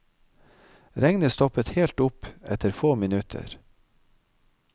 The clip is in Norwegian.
Regnet stoppet helt opp etter få minutter.